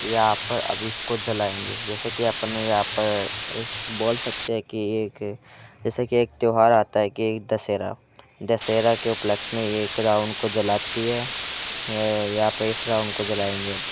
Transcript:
यहाँ पर अब इसको जलाएंगे जैसे कि अपने यहाँ पर ऐसे बोल सकते है की एक जैसे कि एक त्यौहार आता है के दशहरा दशहरा के उपलक्ष में यह रावण को जलाती है यहाँ पे इस रावण को जलाएंगे अब।